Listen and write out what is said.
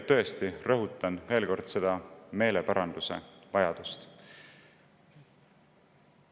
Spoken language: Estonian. Ja tõesti rõhutan veel kord seda meeleparanduse vajadust.